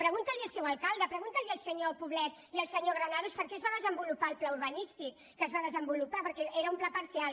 pregun·ti al seu alcalde pregunti al senyor poblet i al senyor granados per què es va desenvolupar el pla urbanístic que es va desenvolupar perquè era un pla parcial